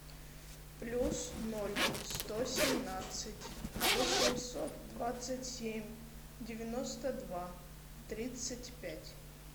плюс ноль сто семнадцать восемьсот двадцать семь девяносто два тридцать пять